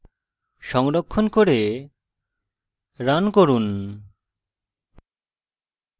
সংরক্ষণ করে run run